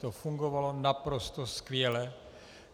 To fungovalo naprosto skvěle.